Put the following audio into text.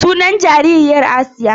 Sunan jaririyar Asiya.